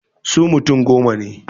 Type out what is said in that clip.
Su mutum goma ne.